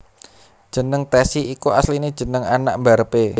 Jeneng Tessy iku asline jenenge anak mbarep e